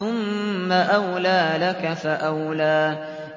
ثُمَّ أَوْلَىٰ لَكَ فَأَوْلَىٰ